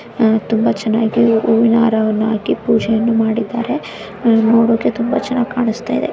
ತುಂಬಾ ಚೆನ್ನಾಗಿ ಹೂವಿನ ಹಾರವನ್ನು ಹಾಕಿ ಪೂಜೆಯನ್ನು ಮಾಡಿದ್ದಾರೆ ನೋಡೋಕೆ ತುಂಬಾ ಚೆನ್ನಾಗ್ ಕಾಣುಸ್ತಾ ಇದೆ.